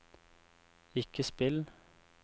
ikke spill